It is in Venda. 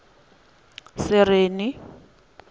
sereni